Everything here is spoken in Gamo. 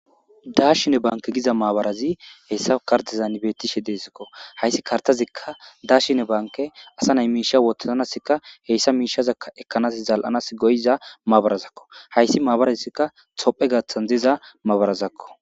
Daashine banke giza maabarazi heyssa kartizan beettishe deesikko hayssi kartazikka daashine banke asa nay miisha wotaznasikka heyssa miishazaka ekkanas zal'anas goyiza maabarazakko hayssi maabarazikka tophe gaathan diza maabarazakko